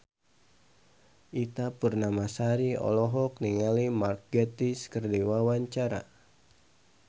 Ita Purnamasari olohok ningali Mark Gatiss keur diwawancara